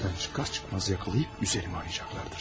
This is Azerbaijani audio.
Evdən çıxar-çıxmaz tutub üstümü axtaracaqlar.